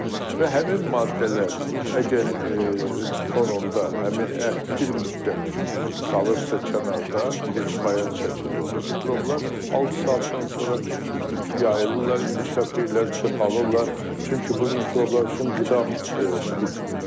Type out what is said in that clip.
Və həmin maddələr əgər fonunda həmin ət bir müddət qalırsa kənarda, deyək bayat şəkildə, orada mikroblar altı saatdan sonra yayılırlar, inkişaf eləyirlər, çoxalırlar, çünki bu mikroblar üçün qida mühitidir.